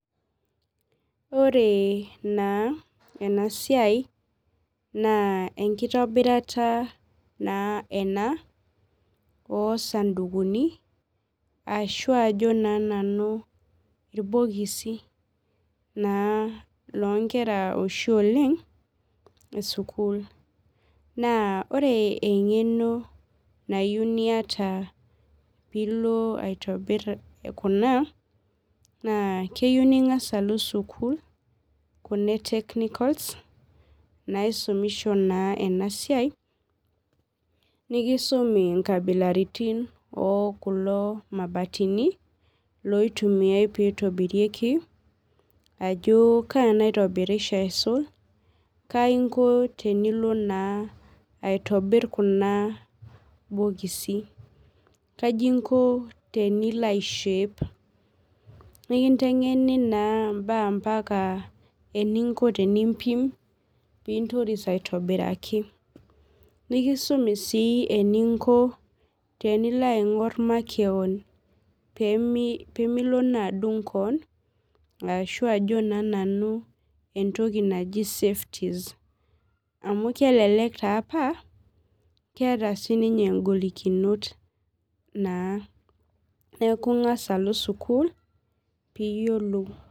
Ore naa enasia na enkitobirata naa ena osandukuni ashibajo na nanu irbokisi lonkera oshi oleng esukul na ore engeno nayieu niata piloaitobir ena na keyieu ningasa alo sukul kuna e technicals naisumisho na enasiai nikisumi nkabilaitin okulo mabatini ajo kaa naitobirieho aisul kaiko tenilobaitobir kuna bokisi kaji inko teniloaishape nikintengenu mbaa eninko tenimpim peintoris aitobiraki nikisumi si eninko pilo aingur makeon pemilo adung keon ashu naa entoki naji safety amu keeta sinye ngolikinot naa neaku ingasa alo sukul piyiolou.